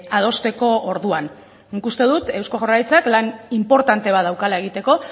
adosteko orduan nik uste dut eusko jaurlaritzak lan inportante bat daukala egiteko